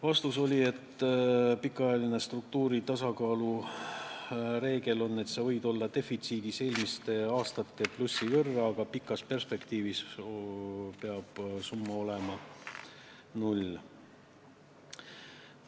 Vastus: pikaajalise struktuurse tasakaalu reegel on, et sa võid olla defitsiidis eelmiste aastate plussi võrra, aga pikas perspektiivis peab summa olema null.